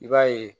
I b'a ye